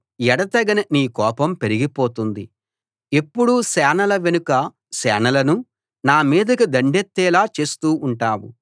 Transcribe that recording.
ఎడతెగని నీ కోపం పెరిగిపోతుంది ఎప్పుడూ సేనల వెనుక సేనలను నా మీదికి దండెత్తేలా చేస్తూ ఉంటావు